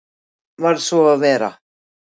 Varð svo að vera.